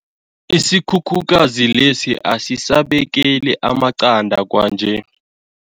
Isikhukhukazi lesi asisabekeli amaqanda kwanje.